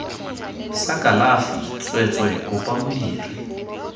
sa kalafi tsweetswee kopa modiri